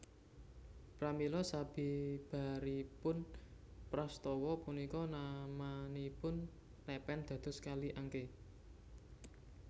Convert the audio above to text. Pramila sabibaripun prastawa punika namanipun lèpèn dados Kali Angké